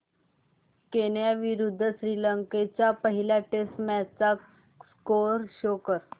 Kenya विरुद्ध श्रीलंका च्या पहिल्या टेस्ट मॅच चा स्कोअर शो कर